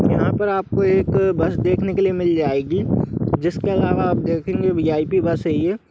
यहां पर आपको एक बस देखने के लिए मिल जाएगी जिसके अलावा आप देखेंगे भी .आई.पी. बस हे ये।